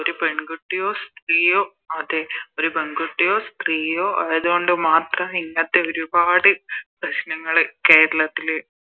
ഒരു പെൺകുട്ടിയോ സ്ത്രീയോ അതെ ഒരു പെൺകുട്ടിയോ സ്ത്രീയോ ആയത് കൊണ്ട് മാത്രം ഇങ്ങത്തെ ഒരുപാട് പ്രശ്നങ്ങള് കേരളത്തില്